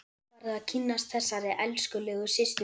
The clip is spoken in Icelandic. Nú færðu að kynnast þessari elskulegu systur minni!